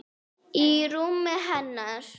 Í rúminu hennar.